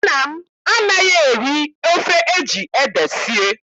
Nna m anaghị-eri ofe eji ede sie.